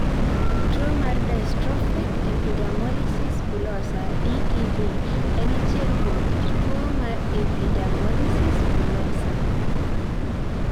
Tuo mar Dystrophic epidermolysis bullosa (DEB) en achiel kuom kit tuo mar epidermolysis bullosa.